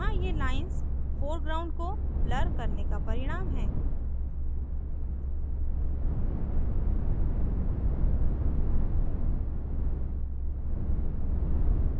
यहाँ ये lines foreground को blur करने का परिणाम हैं